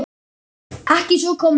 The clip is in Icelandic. Ekki að svo komnu.